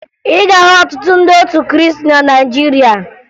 Ị ga-ahụ ọtụtụ ndị otu Krịịstị na Nigeria